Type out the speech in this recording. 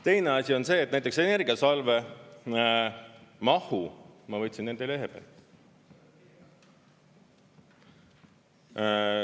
Teine asi on see, et näiteks Energiasalve mahu ma võtsin nende lehe pealt.